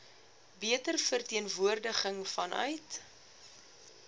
beter verteenwoordiging vanuit